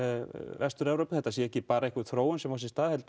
Vestur Evrópu þetta sé ekki bara einhver þróun sem á sér stað heldur